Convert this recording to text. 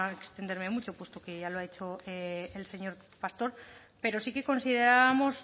extenderme mucho puesto que ya lo ha hecho el señor pastor pero sí que considerábamos